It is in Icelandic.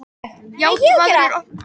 Játvarður, opnaðu dagatalið mitt.